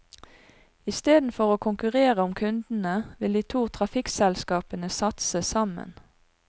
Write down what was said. Istedenfor å konkurrere om kundene, vil de to trafikkselskapene satse sammen.